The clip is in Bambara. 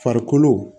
Farikolo